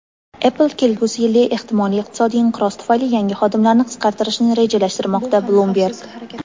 "Apple" kelgusi yilda ehtimoliy iqtisodiy inqiroz tufayli yangi xodimlarni qisqartirishni rejalashtirmoqda – "Bloomberg".